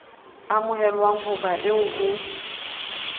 amohelwang ho ba eo ho